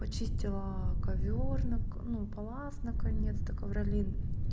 почистила ковёр на ну палас наконец-то ковролин